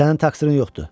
Sənin təqsirin yoxdur.